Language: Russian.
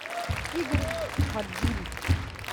игорь фадин